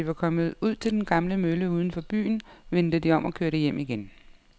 Da de var kommet ud til den gamle mølle uden for byen, vendte de om og kørte hjem igen.